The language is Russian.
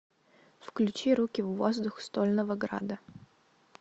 включи руки в воздух стольного града